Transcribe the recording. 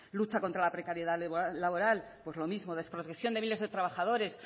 lucha contra la precariedad laboral pues lo mismo desprotección de miles de trabajadores